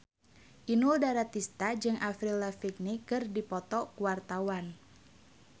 Inul Daratista jeung Avril Lavigne keur dipoto ku wartawan